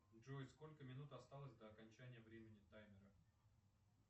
джой сколько минут осталось до окончания времени таймера